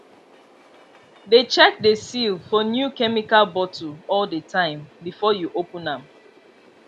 dey check the seal for new chemical bottle all the time before you open am